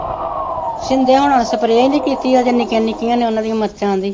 ਸ਼ਿੰਦੇ ਹੁਣਾਂ ਨੇ ਸਪਰੇਅ ਜਿਹੀ ਵੀ ਕੀਤੀ ਹੈ, ਅਜੇ ਨਿੱਕੀਆਂ ਨਿੱਕੀਆਂ ਨੇ ਉਹਨਾ ਦੀਆਂ ਮਿਰਚਾਂ ਵੀ